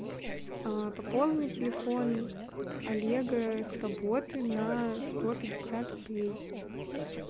пополни телефон олега с работы на сто пятьдесят рублей